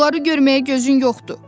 Onları görməyə gözün yoxdur.